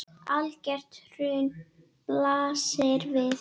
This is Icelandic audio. Algert hrun blasir við.